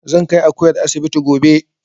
Zan kai Akuyar asibiti gobe